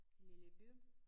Lille by